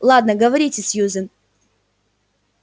ладно говорите сьюзен